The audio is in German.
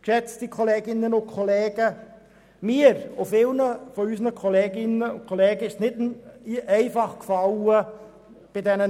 Mir und vielen Kolleginnen und Kollegen sind die Abstimmungen nicht leicht gefallen.